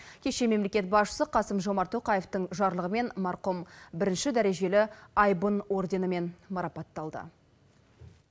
кеше мемлекет басшысы қасым жомарт тоқаевтың жарлығымен марқұм бірінші дәрежелі айбын орденімен марапатталды